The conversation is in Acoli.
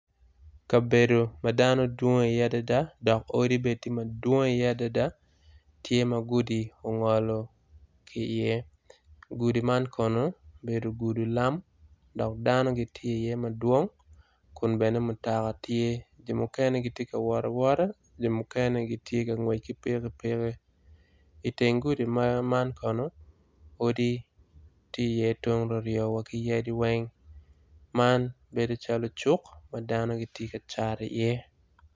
Kabedo ma dano downg i iye adada dok odi bene tye madwong iye adada tye ma gudi ongolo ki iye. Gudi man kono obedo gudi lam dok dano gitye iye madwong. jo mukene gitye ka ngwec ki Mutoka jo mukene ki pikipiki bene tye i tyeng gudi dano tye dok bedo calo cuk ma dano tye ka cat iye